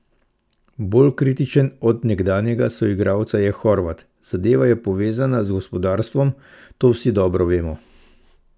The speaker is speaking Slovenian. Bolj kritičen od nekdanjega soigralca je Horvat: "Zadeva je povezana z gospodarstvom, to vsi dobro vemo.